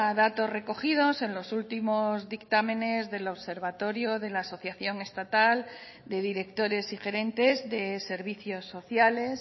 datos recogidos en los últimos dictámenes del observatorio de la asociación estatal de directores y gerentes de servicios sociales